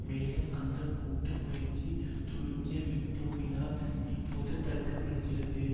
மேலும் அந்த கூட்டு முயற்சி துருக்கிய வீட்டோவினால் இப்போது தடுக்கப்படுகிறது